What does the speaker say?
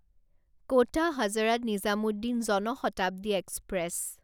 ক'টা Hazrat Nizamuddin Jan Shatabdi express